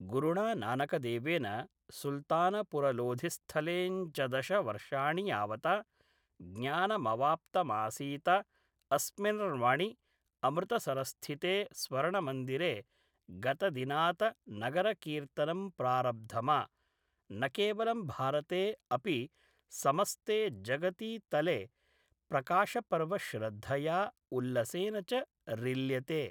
गुरुणा नानकदेवेन सुल्तानपुरलोधिस्थले ञ्चदश वर्षाणि यावत ज्ञानमवाप्तमासीत अस्मिन र्वणि अमृतसरस्थिते स्वर्णमन्दिरे गतदिनात नगरकीर्तनं प्रारब्धम ॥ न केवलं भारते अपि समस्ते जगति तले प्रकाशपर्व श्रद्धया उल्लसेन च रिल्यते।